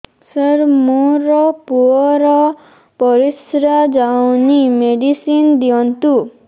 ସାର ମୋର ପୁଅର ପରିସ୍ରା ଯାଉନି ମେଡିସିନ ଦିଅନ୍ତୁ